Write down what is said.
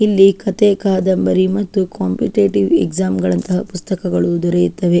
ಇಲ್ಲಿ ಕಥೆ ಕಾದಂಬರಿ ಮತ್ತು ಕಾಂಪಿಟಿಟಿವ್ ಎಕ್ಸಾಮ್ ಗಳಂತಃ ಪುಸ್ತಕಗಳು ದೊರೆಯುತ್ತವೇ.